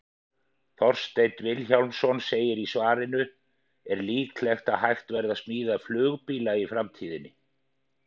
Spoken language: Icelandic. Þorsteinn Vilhjálmsson segir í svarinu Er líklegt að hægt verði að smíða flugbíla í framtíðinni?